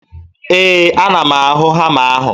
Ee, ana m ahụ hama ahụ